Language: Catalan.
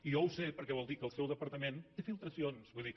i jo ho sé perquè vol dir que el seu departament té filtracions vull dir